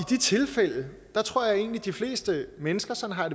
de tilfælde tror jeg egentlig de fleste mennesker sådan har